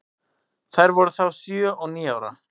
Þær voru þá sjö og níu ára.